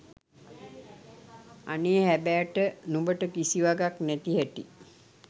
අනේ හැබෑට නුඹට කිසි වගක් නැති හැටි!